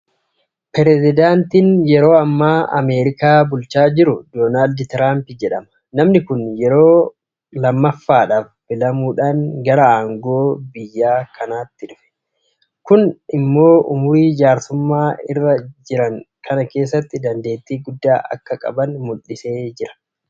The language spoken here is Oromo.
Mootummaan yeroo ammaa Ameerikaa bulchaa jiru Doonaald Tiraamp jedhama. Namni kun yeroo kammaffaadhaaf filamuudhaan gara aangoo biyya kanaatti dhufe. Kun immoo ummurii jaarsummaa irra jiran kana keessatti dandeettii guddaa akka qaban mul'iseera.